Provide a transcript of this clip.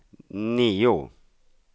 nio